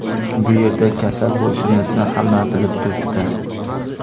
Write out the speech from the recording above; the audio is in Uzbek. Bu yerda kasal bo‘lishimizni hamma bilib turibdi.